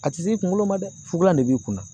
A ti s'i kunkolo ma dɛ fukulan de b'i kunna